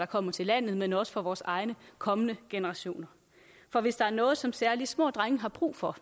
kommer til landet men også for vores egne kommende generationer for hvis der er noget som særlig små drenge har brug for